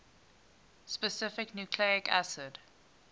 specific nucleic acid